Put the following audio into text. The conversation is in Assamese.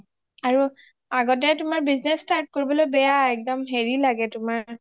আৰু আগতে তুমাৰ business start কৰিব বেয়া একদম হেৰি লাগে তোমাৰ